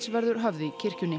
verður höfð í kirkjunni